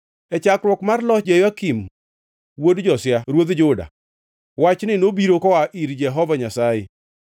E chakruok mar loch Jehoyakim wuod Josia ruodh Juda, wachni nobiro koa ir Jehova Nyasaye: